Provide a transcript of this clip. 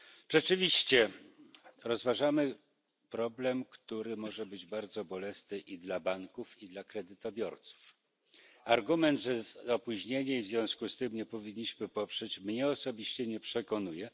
Rzeczywiście rozważamy problem, który może być bardzo bolesny i dla banków, i dla kredytobiorców. Argument, że jest opóźnienie i w związku z tym nie powinniśmy udzielić poparcia, mnie osobiście nie przekonuje.